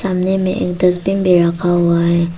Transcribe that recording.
सामने में एक डस्टबीन भी रखा हुआ हैं।